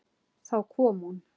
Þá kom hún.